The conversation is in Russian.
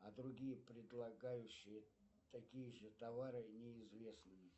а другие предлагающие такие же товары неизвестные